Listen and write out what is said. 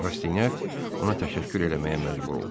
Rastinyak ona təşəkkür eləməyə məcbur oldu.